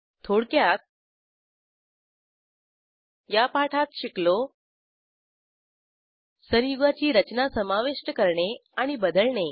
थोडक्यात या पाठात शिकलो संयुगाची रचना समाविष्ट करणे आणि बदलणे